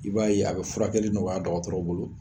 I b'a ye a bɛ furakɛli nɔgɔya dɔgɔtɔrɔw bolo.